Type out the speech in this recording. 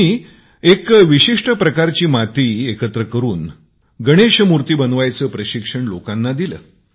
त्यांनी एक विशिष्ठ प्रकारची माती एकत्र करून त्याला आकारबद्ध करून गणेश जी बनवायचे प्रशिक्षण लोकांना दिले